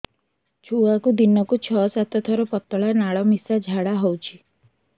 ଛୁଆକୁ ଦିନକୁ ଛଅ ସାତ ଥର ପତଳା ନାଳ ମିଶା ଝାଡ଼ା ହଉଚି